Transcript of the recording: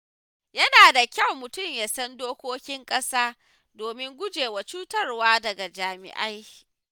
Yana da kyau mutum ya san dokokin ƙasa domin gujewa cutarwa daga jami’ai.